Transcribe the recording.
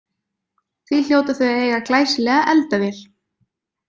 Því hljóta þau að eiga glæsilega eldavél.